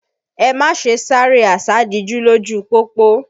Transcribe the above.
Ẹ má ṣe sáré àsádijú lójú u pópó!